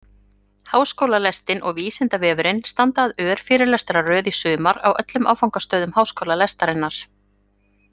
Háskólalestin og Vísindavefurinn standa að örfyrirlestraröð í sumar á öllum áfangastöðum Háskólalestarinnar.